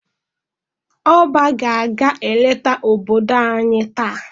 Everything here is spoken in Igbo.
ỌBÁ ga aga-eleta obodo anyi taa.